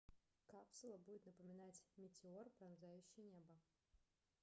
капсула будет напоминать метеор пронзающий небо